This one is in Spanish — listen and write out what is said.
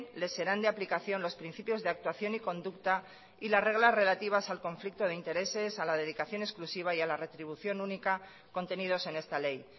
les serán de aplicación los principios de actuación y conducta y las reglas relativas al conflicto de intereses a la dedicación exclusiva y a la retribución única contenidos en esta ley